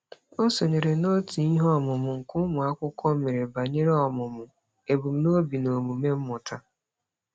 O sonyeere n'òtù iheọmụmụ nke ụmụakwukwo mere banyere ọmụmụ ebumnobi na omume mmụta.